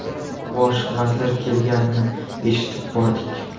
Bosh vazir kelganini eshitib bordik.